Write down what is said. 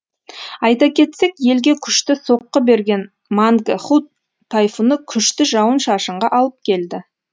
айта кетсек елге күшті соққы берген мангхут тайфуны күшті жауын шашынға алып келді